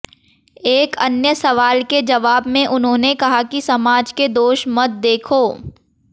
एक अन्य सवाल के जवाब में उन्होंने कहा कि समाज के दोष मत देखो